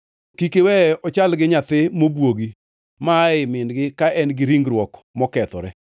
Kik iweye ochal gi nyathi mobwogi ma aa ei min-gi ka en-gi ringruok mokethore.”